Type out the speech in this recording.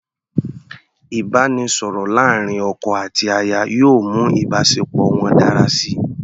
Ìbáraẹnisọ̀rọ̀ láàrin ọkọ àti aya yóò mú ìbáṣepọ̀ wọn dára síi.